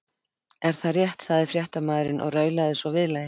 Er það rétt? sagði fréttamaðurinn og raulaði svo viðlagið.